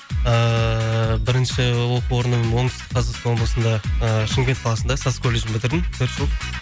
ыыы бірінші ол оқу орным оңтүстік қазақстан облысында ы шымкент қаласында саз колледжін бітірдім төрт жыл